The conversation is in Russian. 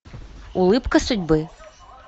улыбка судьбы